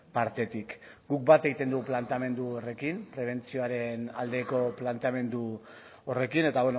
partetik guk bat egiten dugu planteamendu horrekin prebentzioaren aldeko planteamendu horrekin eta